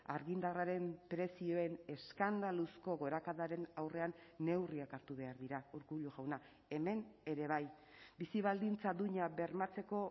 argindarraren prezioen eskandaluzko gorakadaren aurrean neurriak hartu behar dira urkullu jauna hemen ere bai bizi baldintza duina bermatzeko